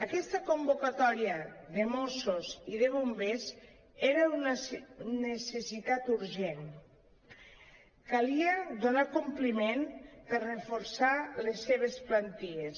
aquesta convocatòria de mossos i de bombers era una necessitat urgent calia donar·hi compliment per reforçar les seves plantilles